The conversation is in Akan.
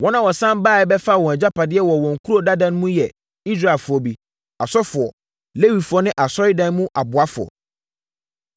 Wɔn a wɔsane baeɛ bɛfaa wɔn agyapadeɛ wɔ wɔn nkuro dada mu no yɛ Israelfoɔ bi, asɔfoɔ, Lewifoɔ ne asɔredan mu aboafoɔ.